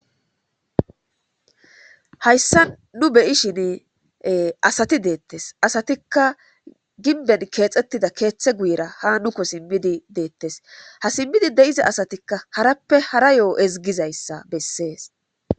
hayssa nu beyishin asati deettes asatikka ginben keexettida keeththe guyira ha nuko simmidi deettes ha simmidi de7iza asatikka harappe hara yo7o ezgizayssa bessees